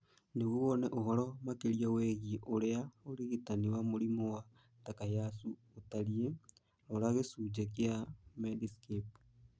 Nĩguo wone ũhoro makĩria wĩgiĩ ũrĩa ũrigitani wa mũrimũ wa Takayasu ũtariĩ, rora gĩcunjĩ kĩa Medscape.